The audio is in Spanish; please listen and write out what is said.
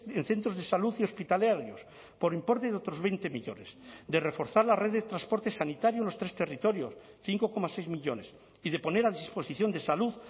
en centros de salud y hospitalarios por importe de otros veinte millónes de reforzar la red de transporte sanitario en los tres territorios cinco coma seis millónes y de poner a disposición de salud